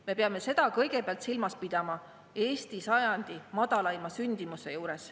Me peame seda kõigepealt silmas pidama, arvestades Eesti sajandi madalaimat sündimust.